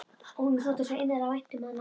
Honum þótti svo innilega vænt um hana.